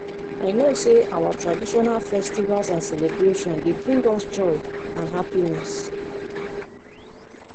i know say our traditional festivals and celebrations dey bring us joy and happiness.